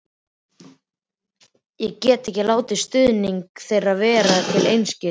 Ég get ekki látið stuðning þeirra verða til einskis.